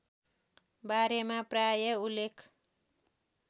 बारेमा प्राय उल्लेख